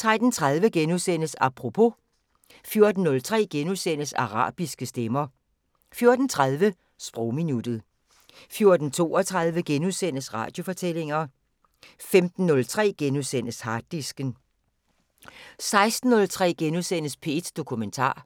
13:30: Apropos * 14:03: Arabiske stemmer * 14:30: Sprogminuttet 14:32: Radiofortællinger * 15:03: Harddisken * 16:03: P1 Dokumentar